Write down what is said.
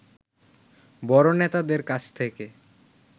বড় নেতাদের কাছ থেকে